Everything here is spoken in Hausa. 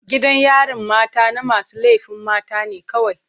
Gidan yarin mata na masu laifin mata ne kawai.